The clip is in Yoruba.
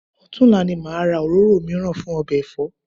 Ọ̀tunla ni màá ra òróró mìíràn fún ọbẹ̀ ẹ̀fọ́